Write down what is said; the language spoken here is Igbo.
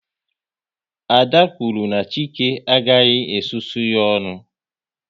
Ada kwuru na Chike agaghị e susu ya ọnụ